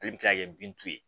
Ale bɛ kila ka kɛ bin t'u ye